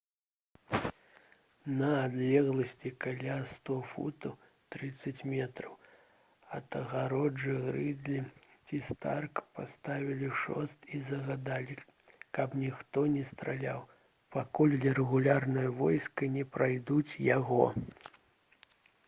на адлегласці каля 100 футаў 30 метраў ад агароджы грыдлі ці старк паставілі шост і загадалі каб ніхто не страляў пакуль рэгулярныя войскі не пройдуць яго